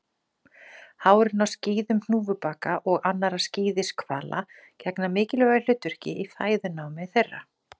Hárin á skíðum hnúfubaka og annarra skíðishvala gegna mikilvægu hlutverki í fæðunámi þeirra.